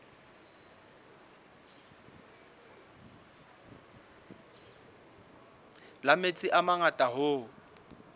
la metsi a mangata hoo